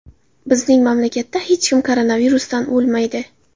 Bizning mamlakatda hech kim koronavirusdan o‘lmaydi.